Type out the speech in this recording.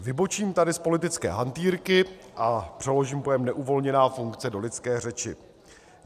Vybočím tady z politické hantýrky a přeložím pojem neuvolněná funkce do lidské řeči.